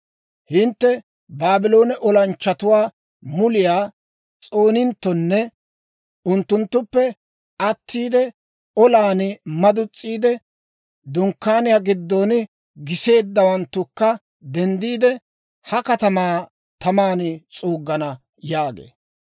Hintte Baabloone olanchchatuwaa muliyaa s'ooninttonne unttunttuppe attiide, olan madus's'iide, dunkkaaniyaa giddon giseeddawanttukka denddiide, ha katamaa taman s'uuggana» yaagee.